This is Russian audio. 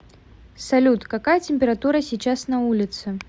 салют какая температура сейчас на улице